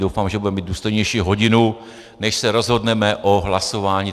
Doufám, že budeme mít důstojnější hodinu, než se rozhodneme o hlasování...